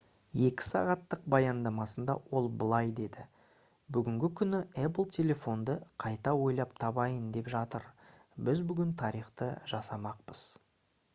2 сағаттық баяндамасында ол былай деді: «бүгінгі күні apple телефонды қайта ойлап табайын деп жатыр. біз бүгін тарихты жасамақпыз»